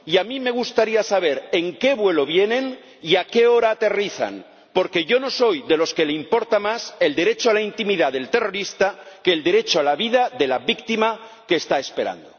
y a mí me gustaría saber en qué vuelo vienen y a qué hora aterrizan, porque yo no soy de los que les importa más el derecho a la intimidad del terrorista que el derecho a la vida de la víctima que está esperando.